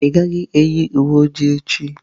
Ị gaghị eyi uwe oji echi.